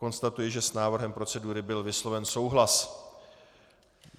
Konstatuji, že s návrhem procedury byl vysloven souhlas.